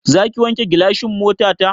Zaki wanke gilasan motata?